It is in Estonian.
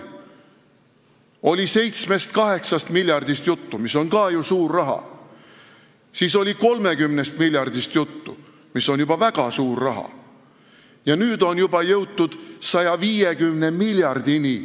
Oli 7–8 miljardist juttu, mis on ka ju suur raha, siis oli 30 miljardist juttu, mis on juba väga suur raha, ja nüüd on juba jõutud 150 miljardini.